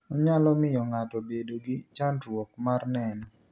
Onyalo miyo ng'ato bedo gi chandruok mar neno.